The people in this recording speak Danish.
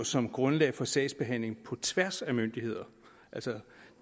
som grundlag for sagsbehandling på tværs af myndigheder